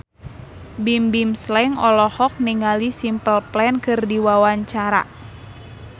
Bimbim Slank olohok ningali Simple Plan keur diwawancara